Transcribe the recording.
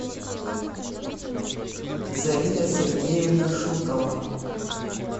зарина сергеевна шутова